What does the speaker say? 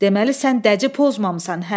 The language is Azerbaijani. Deməli sən dəci pozmamısan, hə?